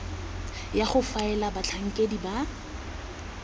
ya go faela batlhankedi ba